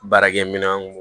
Baarakɛminɛnw